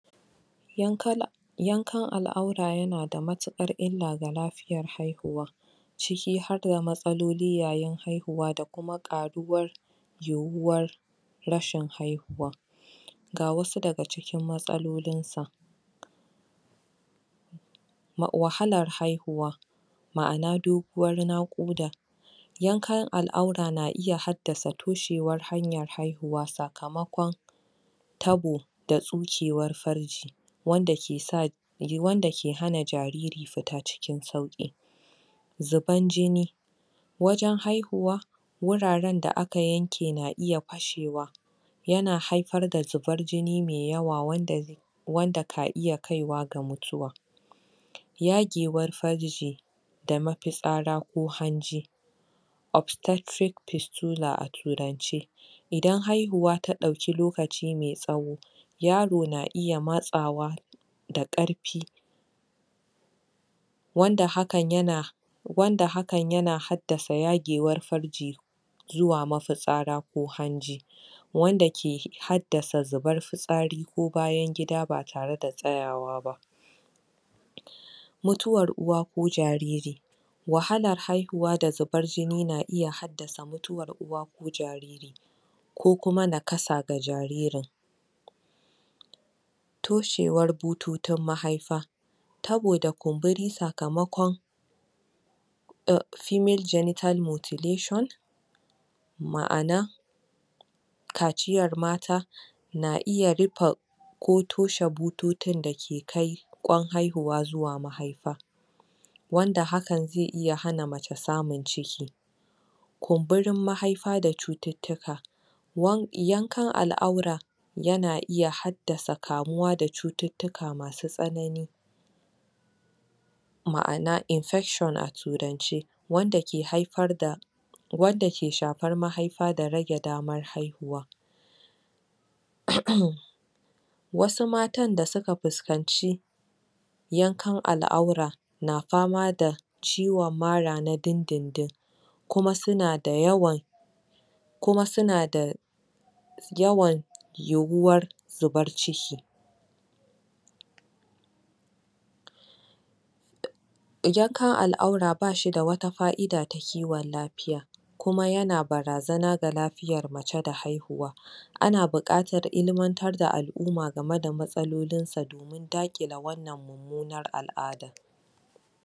Yankan yankan al'aura yana da matuƙar illa ga lafiyar haihuwa ciki har da matsaloli yayin haihuwa da kuma ƙaruwar yiwuwar rashin haihuwa ga wasu daga cikin matsalolin sa wahalar haihuwa ma'ana doguwar naƙuda yankan al'aura na iya haddasa toshewar hanyar haihuwa sakamakon tabo da tsukewar farji wanda ke sa, wanda ke hana jariri fita cikin sauƙi zuban jini wajen haihuwa wuraren da aka yanke na iya fashewa yana haifar da zubar jini me yawa wanda wanda ka iya kaiwa ga mutuwa yagewar farji ma mafitsara ko hanji obstetric pesular a turanci idan haihuwa ta ɗauki lokaci me tsawo yaro na iya matsawa da ƙarfi wanda hakan yana wanda hakan yana haddasa yagewar farji zuwa mafitsara ko hanji wanda ke haddasa zubar fitsari ko bayan gida ba tare da tsayawa ba mutuwar uwa ko jariri wahalar haihuwa da zubar jini na iya haddasa mutuwar uwa ko jariri ko kuma nakasa ga jaririn toshewar bututun mahaifa tabo da kumburi sakamakon eh, female genital mutulation ma'ana kaciyar mata na iya rufe ko toshe bututun da ke kai ƙwan haihuwa zuwa mahaifa wanda hakan zai iya hana mace samun ciki kumburin mahaifa da cututtuka yankan al'aura yana iya haddasa kamuwa da cututtuka masu tsanani ma'ana infection a turance wanda ke haifar da wanda ke shafar mahaifa da rage damar haihuwa wasu matan da suka fuskanci yankan al'aura na fama da ciwon mara na dindindin kuma suna da yawan kuma suna da yawan yiwuwar zubar ciki yankan al'aura ba shi da wata fa'ida ta kiwon lafiya kuma yana barazana ga lafiyar mace da haihuwa ana buƙatar ilmantar da al'umma game da matsalolin sa dan daƙile wannan mummunar al'adar.